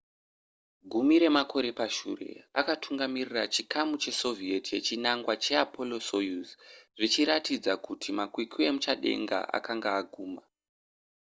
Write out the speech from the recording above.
gumi remakore pashure akatungamirira chikamu chesoviet yechinangwa cheapollo-soyuz zvichiratidza kuti makwikwi emuchadenga akanga aguma